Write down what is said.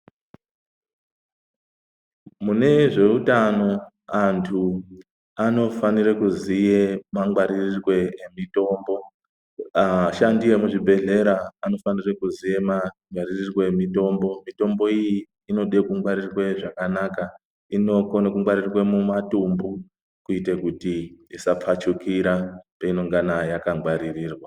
Mune zveutano antu anofanire kuziye kungwaririrwe emitombo ashandi emuzvibhedhlera anofanire kuziye mangwaririrwe emitombo. Mitombo iyi inode kungwaririrwe zvakanaka, inokone kungwaririrwe mumatumbu. Kuite kuti isapfachukira peinongana yakangwaririrwa.